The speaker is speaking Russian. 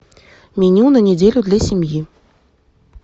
меню на неделю для семьи